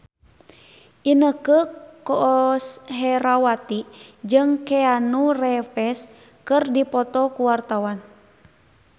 Inneke Koesherawati jeung Keanu Reeves keur dipoto ku wartawan